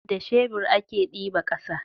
da shebur a ke diba ƙasa